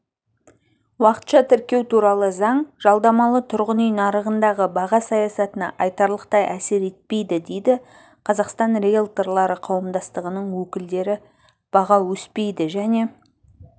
уақытша тіркеу туралы заң жалдамалы тұрғын үй нарығындағы баға саясатына айтарлықтай әсер етпейді дейді қазақстан риэлторлары қауымдастығының өкілдері баға өспейді және